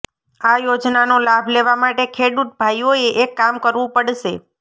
આ યોજનાનો લાભ લેવા માટે ખેડ઼ૂત ભાઈઓએ એક કામ કરવુ પડશે